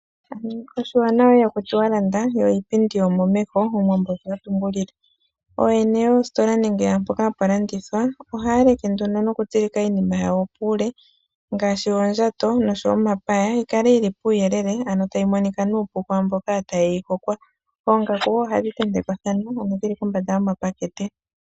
Oshiwanawa iha ku tiwa landa yo iipindi omo mehe omuwambo osho atumbulile, ooyeni yoostola nenge pomahala mpoka hapu landithwa ohaa like nduno noku tsilika iinima yawo puule ngaashi oondjato noshowo omapaya yikale yili puuyelele ano tayi monika nuupu kwaamboka tayeyi hokwa, 9ongaku ohandhi tentekwa thana ano dhili kombanda yoma pakete.